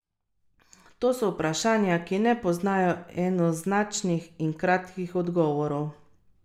To so vprašanja, ki ne poznajo enoznačnih in kratkih odgovorov.